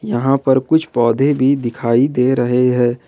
यहां पर कुछ पौधे भी दिखाई दे रहे हैं।